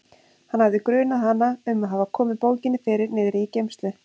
Hann hafði grunað hana um að hafa komið bókinni fyrir niðri í geymslu.